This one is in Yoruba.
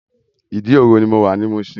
Idi-oro ni mó wá ni Mushin